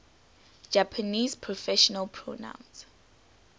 japanese personal pronouns